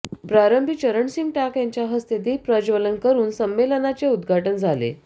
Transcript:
प्रारंभी चरणसिंग टाक यांच्या हस्ते दीप प्रज्वलन करून संमेलनाचे उद्घाटन झाले